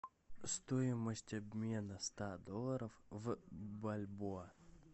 стоимость обмена ста долларов в бальбоа